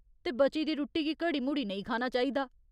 ते बची दी रुट्टी गी घड़ी मुड़ी नेईं खाना चाहिदा।